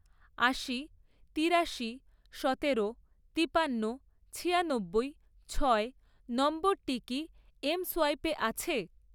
আশি, তিরাশি, সতেরো, তিপান্ন, ছিয়ানব্বই, ছয় নম্বরটি কি এমসোয়াইপে আছে?